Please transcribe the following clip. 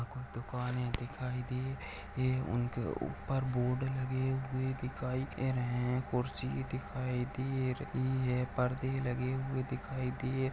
दुकाने दिखाई दे रही उनके ऊपर बोर्ड लगे हुए दिखाई दे रहे है कुर्सी दिखाई दे रही है परदे लगे हुए दिखाई दे --